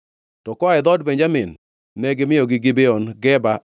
To koa e dhood Benjamin ne gimiyogi Gibeon, Geba,